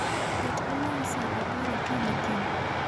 Ket olang' saa apar okinyi kiny